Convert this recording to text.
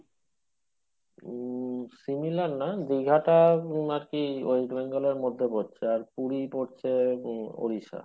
উম similar নয় দীঘাটা আর কি, wes T bengal এর মধ্যে পড়ছে আর পুরি পড়ছে ওড়িষ্যা,